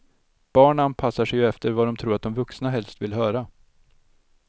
Barn anpassar sig ju efter vad de tror att de vuxna helst vill höra.